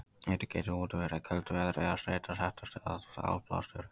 Einnig getur útivera í köldu veðri eða streita sett af stað áblástur.